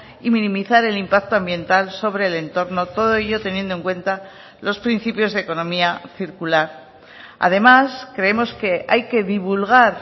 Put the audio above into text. y minimizar el impacto ambiental sobre el entorno todo ello teniendo en cuenta los principios de economía circular además creemos que hay que divulgar